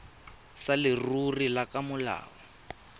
sa leruri le ka molao